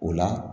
O la